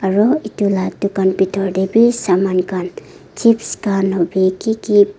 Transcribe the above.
aru etu lah dukan bithor teh bhi saman khan chips khan hobi ki ki--